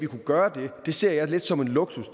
kunnet gøre det ser jeg lidt som en luksus